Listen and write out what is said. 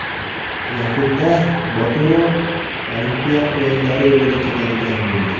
Yakunda Boturov Olimpiya o‘yinlari yo‘lida ketadigan bo‘ldi.